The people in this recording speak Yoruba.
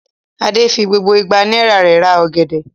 Adé fi gbogbo igba náírà rẹ̀ ra ọ̀gẹ̀dẹ̀?